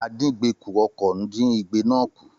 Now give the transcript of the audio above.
Àdíngbekù-ọkọ̀ dín igbe náà kù